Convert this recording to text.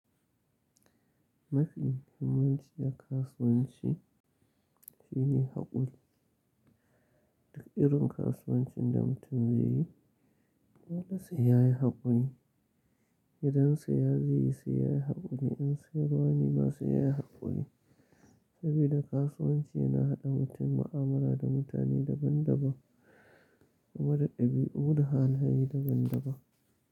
Mafi muhimmanci a kasuwanci shine haƙuri. Duk irin kasuwancin da mutum zai yi dole sai yayi haƙuri. Idan saya zai yi sai yayi haƙuri, in sayarwa ne ma sai yayi haƙuri. Saboda kasuwanci yana haɗa mutum mu'amala da mutane daban daban, mara ɗabi'u da halaye daban daban.